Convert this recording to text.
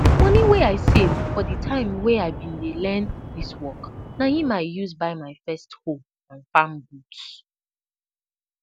money wey i save for di time wen i been dey learn dis work na im i use buy my first hoe and farm boots